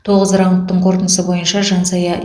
тоғыз раундтың қорытындысы бойынша жансая